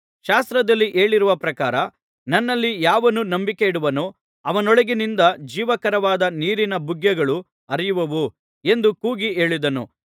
ಶಾಸ್ತ್ರದಲ್ಲಿ ಹೇಳಿರುವ ಪ್ರಕಾರ ನನ್ನಲ್ಲಿ ಯಾವನು ನಂಬಿಕೆಯಿಡುವನೋ ಅವನೊಳಗಿನಿಂದ ಜೀವಕರವಾದ ನೀರಿನ ಬುಗ್ಗೆಗಳು ಹರಿಯುವವು ಎಂದು ಕೂಗಿ ಹೇಳಿದನು